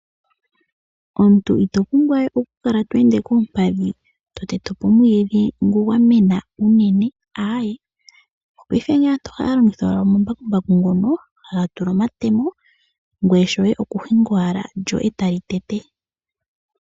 Omuntu itopumbwa we okukala tweeende koompadhi to tetepo omwiidhi ngoka gwamena shinene, aaaye paife aantu ohaya longitha omambakumbaku ngoka haga tulwa omatema, ngoye shoye okuhinga owala lyo tali tete.